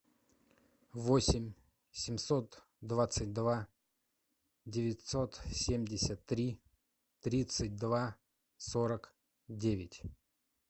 восемь семьсот двадцать два девятьсот семьдесят три тридцать два сорок девять